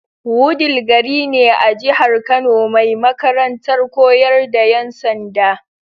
Wudil gari ne a jihar Kano mai makarantar koyar da yan sanda.